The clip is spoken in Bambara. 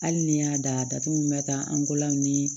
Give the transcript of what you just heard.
Hali ni y'a datugu min bɛ taa an ko law ni